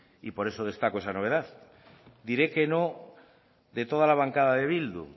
y por eso destaco esa novedad diré que no de toda la bancada de bildu